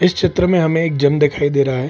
इस चित्र ममं हमें एक जिम दिखाई दे रहा है।